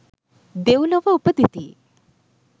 දෙව්ලොව උපදිති.